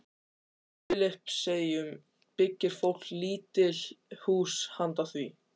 Á Filippseyjum byggir fólk lítil hús handa því.